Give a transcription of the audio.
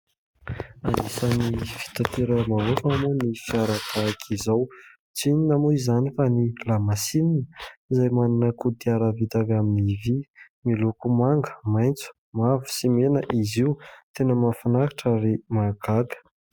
Anisan'ny fitanteram-bahoaka moa ny fiara tahaka izao. Tsy inona moa izany fa ny lamasinina izay manana kodiarana vita avy amin'ny vy. Miloko manga, maitso, mavo sy mena izy io. Tena mahafinaritra ary mahagaga.